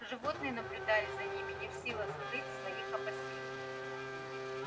животные наблюдали за ними не в силах скрыть своих опасений